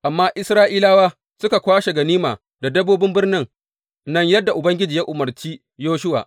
Amma Isra’ilawa suka kwashe ganima da dabbobin birnin nan yadda Ubangiji ya umarci Yoshuwa.